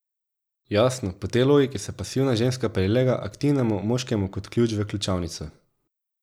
Jasno, po tej logiki se pasivna ženska prilega aktivnemu moškemu kot ključ v ključavnico.